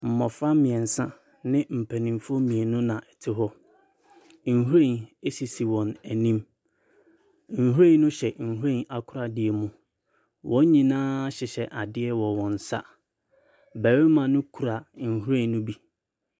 Mmɔfra mmeɛnsa ne mpanimfoɔ mmieni na wzre hɔ. Nhwiren sisi wɔn anim. Nhwiren no hyɛ nhwiren akoradeɛ mu. Wɔn nyinaa hyehyɛ adeɛ wɔ wɔn nsa. Barima no kura nhwiren no bi.